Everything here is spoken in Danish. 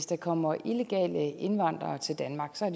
der kommer illegale indvandrere til danmark som